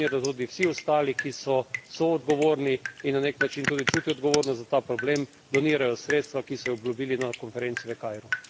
Prizadevanja naj gredo tudi v to smer, da tudi vsi ostali, ki so soodgovorni in na nek način tudi čutijo odgovornost za ta problem, donirajo sredstva, ki so jih obljubili na konferenci v Kairu.